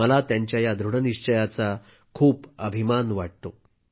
मला त्यांच्या या दृढनिश्चयाचा खूप अभिमान वाटतो